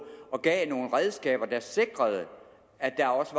og gav nogle redskaber der sikrede at der også